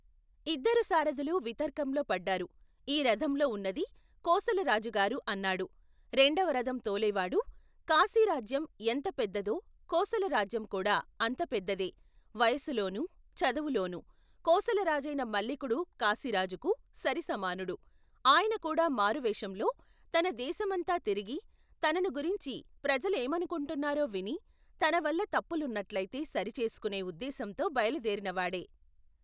ఇద్దరు సారథులు వితర్కంలో పడ్డారు ఈ రధంలో ఉన్నది కోసలరాజు గారు అన్నాడు రెండవ రధం తోలేవాడు కాశీరాజ్యం ఎంత పెద్దదో కోసలరాజ్యం కూడా అంత పెద్దదే వయసులోనూ, చదువులోనూ కోసలరాజైన మల్లికుడు కాశీ రాజుకు, సరిసమానుడు, ఆయనకూడా మారువేషంలో తన దేశమంతా తిరిగి తనను గురించి ప్రజలేమను కుంటున్నారో విని తన వల్ల తప్పులున్నట్లయితే సరిచేసుకునే ఉద్దేశంతో బయలుదేరినవాడే.